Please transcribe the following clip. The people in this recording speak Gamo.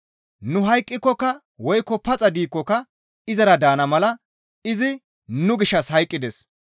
Nu hayqqikokka woykko paxa diikkoka izara daana mala izi nu gishshas hayqqides.